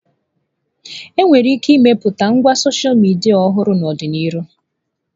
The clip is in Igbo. Enwere ike ịmepụta ngwa sọsha midia ọhụrụ n'ọdịnihu.